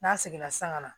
N'a seginna san ka na